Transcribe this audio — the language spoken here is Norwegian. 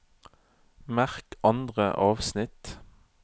Merk andre avsnitt